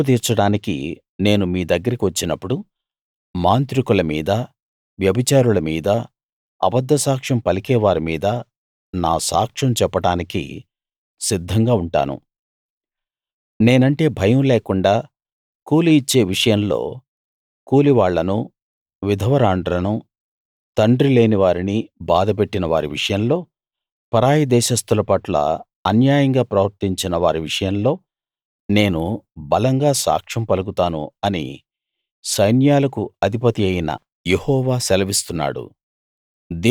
తీర్పు తీర్చడానికి నేను మీ దగ్గరికి వచ్చినప్పుడు మాంత్రికుల మీద వ్యభిచారుల మీద అబద్దసాక్ష్యం పలికే వారి మీద నా సాక్ష్యం చెప్పడానికి సిద్ధంగా ఉంటాను నేనంటే భయం లేకుండా కూలి ఇచ్చే విషయంలో కూలివాళ్ళను విధవరాండ్రను తండ్రిలేని వారిని బాధపెట్టిన వారి విషయంలో పరాయి దేశస్థుల పట్ల అన్యాయంగా ప్రవర్తించిన వారి విషయంలో నేను బలంగా సాక్ష్యం పలుకుతాను అని సైన్యాలకు అధిపతియైన యెహోవా సెలవిస్తున్నాడు